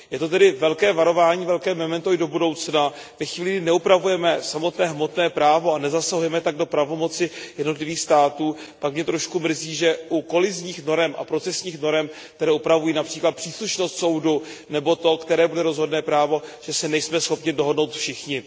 Je to tedy velké varování, velké memento i do budoucna. Ve chvíli, kdy neupravujeme samotné hmotné právo, a nezasahujeme tak do pravomoci jednotlivých států, pak mě trošku mrzí, že u kolizních norem a procesních norem, které upravují například příslušnost soudu, nebo to, které bude rozhodné právo, že se nejsme schopni dohodnout všichni.